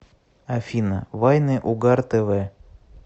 афина вайны угар тэ вэ